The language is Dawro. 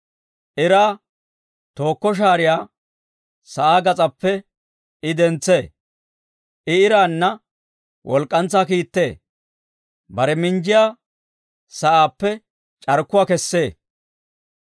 Iraa tooko shaariyaa sa'aa gas'aappe I dentsee; I iraanna walk'k'antsaa kiittee; bare minjjiyaa sa'aappe c'arkkuwaa kessee.